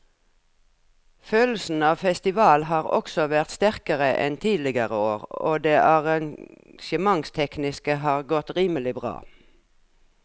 Følelsen av festival har også vært sterkere enn tidligere år og det arrangementstekniske har godt rimelig bra.